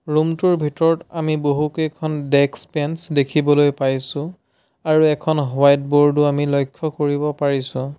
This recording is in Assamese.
ৰুম টোৰ ভিতৰত আমি বহুকেইখন ডেক্স বেঞ্চ দেখিবলৈ পাইছোঁ আৰু এখন হোৱাইট বোৰ্ড ও আমি লক্ষ্য কৰিব পাৰিছোঁ।